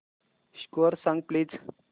score सांग please